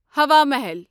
ہوا محل